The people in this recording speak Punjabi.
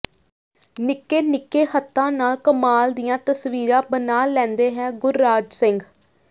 ਨਿੱਕੇ ਨਿੱਕੇ ਹੱਥਾਂ ਨਾਲ ਕਮਾਲ ਦੀਆਂ ਤਸਵੀਰਾਂ ਬਣਾ ਲੈਂਦਾ ਹੈ ਗੁਰਰਾਜ ਸਿੰਘ